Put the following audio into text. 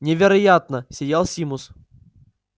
невероятно сиял симус